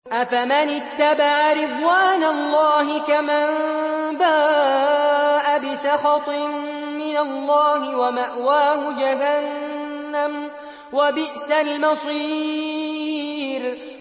أَفَمَنِ اتَّبَعَ رِضْوَانَ اللَّهِ كَمَن بَاءَ بِسَخَطٍ مِّنَ اللَّهِ وَمَأْوَاهُ جَهَنَّمُ ۚ وَبِئْسَ الْمَصِيرُ